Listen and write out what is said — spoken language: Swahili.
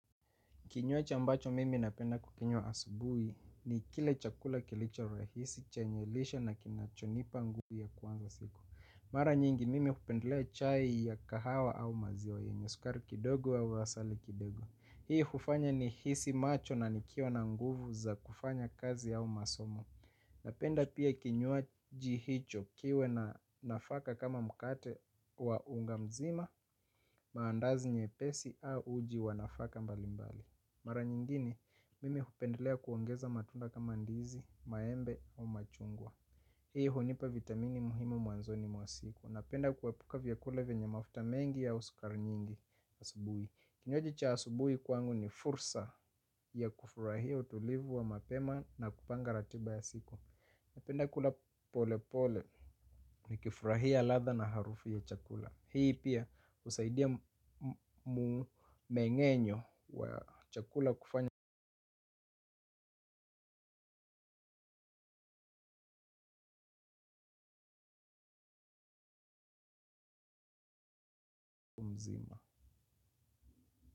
Kinywaji ambacho mimi napenda kukinywa asubui ni kile chakula kilicho rahisi che nye lishe na kinachonipa nguvu ya kuanza siku. Mara nyingi mimi hupendlea chai ya kahawa au maziwa yenye sukari kidogo au asali kidogo. Hii hufanya ni hisi macho na nikiwa na nguvu za kufanya kazi au masomo. Napenda pia kinywaji hicho kiwe na nafaka kama mkate wa unga mzima maandazi nye pesi au uji wanafaka mbalimbali. Mara nyingine, mimi hupendelea kuongeza matunda kama ndizi, maembe au machungwa. Hii hunipa vitamini muhimu mwanzoni mwa siku. Napenda kuepuka vyakula venye mafuta mengi au sukari nyingi asubui. Kinywaji cha asubui kwangu ni fursa ya kufurahia utulivu wa mapema na kupanga ratiba ya siku. Napenda kula pole pole ni kifurahia ladha na harufu ya chakula. Hii pia husaidia mmeng'enyo wa chakula kufanya mzima.